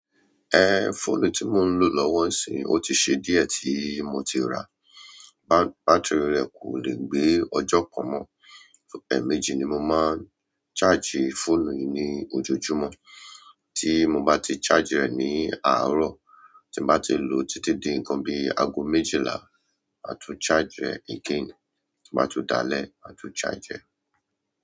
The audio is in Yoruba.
Ẹ, fóònù tí mo ń lò lọ́wọ́ ń sì, ó ti ṣe díẹ̀ tí mo ti rà. Bat-batíìrì rẹ̀ kò le gbé ọjọ́ kan mọ. Ẹ̀ méjì ni mo máa ń charge fóònù yìí ní ojoojúmọ́. Tí mo bá ti charge rẹ̀ ní àárọ̀, tí mo bá ti lò títí di nǹkan bi í aago méjìlá, máa tú charge rẹ̀ again. Tó bá tún dalẹ̀, màá tún charge rẹ̀.